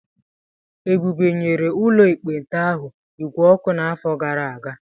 Ebube nyere ụlọ ekpenta ahụ igwe ọkụ n'afọ gara aga.